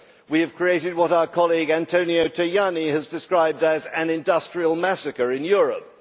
We have created what our colleague Antonio Tajani has described as an industrial massacre in Europe.